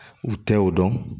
U tɛ y'o dɔn